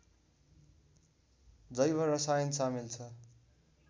जैव रसायन सामेल छ